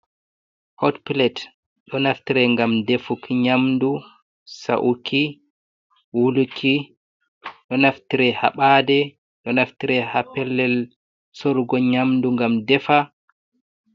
Hot plet ɗo naftire ngam defuki nyamdu, sa'uki, wuluki. Ɗo naftire ha ɓade, ɗo naftire ha pellel sorugo nyamdu ngam defa.